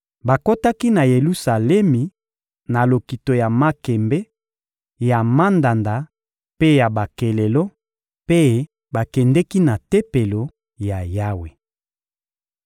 Bakotaki na Yelusalemi na lokito ya makembe, ya mandanda mpe ya bakelelo, mpe bakendeki na Tempelo ya Yawe.